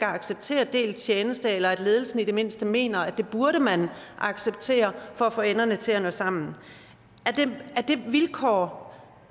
acceptere delt tjeneste eller at ledelsen i det mindste mener at det burde man acceptere for at få enderne til at nå sammen er det vilkår